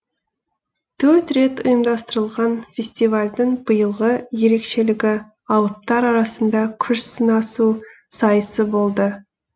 төртінші рет ұйымдастырылған фестивальдің биылғы ерекшелігі алыптар арасында күш сынасу сайысы болды